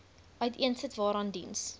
uiteensit waaraan diens